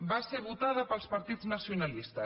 va ser votada pels partits nacionalistes